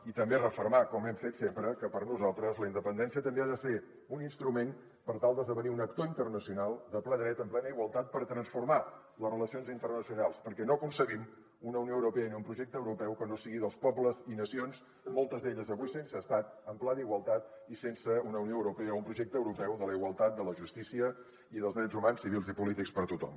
i també refermar com hem fet sempre que per nosaltres la independència també ha de ser un instrument per tal d’esdevenir un actor internacional de ple dret en plena igualtat per transformar les relacions internacionals perquè no concebem una unió europea ni un projecte europeu que no sigui dels pobles i nacions moltes d’elles avui sense estat en pla d’igualtat i sense una unió europea o un projecte europeu de la igualtat de la justícia i dels drets humans civils i polítics per a tothom